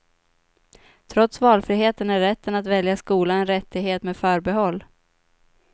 Trots valfriheten är rätten att välja skola en rättighet med förbehåll.